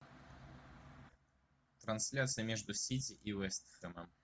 трансляция между сити и вест хэмом